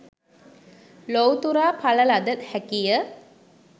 ලොවුතුරා ඵල ලද හැකිය.